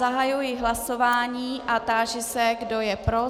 Zahajuji hlasování a táži se, kdo je pro.